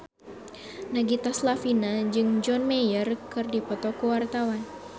Nagita Slavina jeung John Mayer keur dipoto ku wartawan